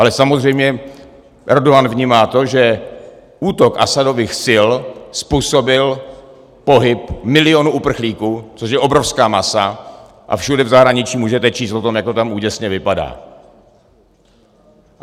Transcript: Ale samozřejmě Erdogan vnímá to, že útok Asadových sil způsobil pohyb milionu uprchlíků, což je obrovská masa, a všude v zahraničí můžete číst o tom, jak to tam úděsně vypadá.